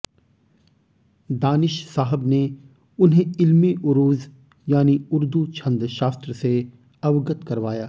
दानिश साहब ने उन्हें इल्मे उरूज यानी उर्दू छंद शास्त्र से अवगत करवाया